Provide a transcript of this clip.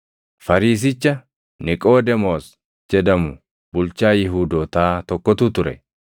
Fariisicha Niqoodemoos jedhamu bulchaa Yihuudootaa tokkotu ture.